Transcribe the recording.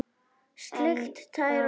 Sleikt tær og slefað.